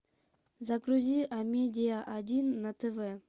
загрузи амедиа один на тв